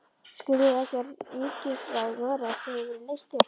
Skiljið þið ekki að ríkisráð Noregs hefur verið leyst upp!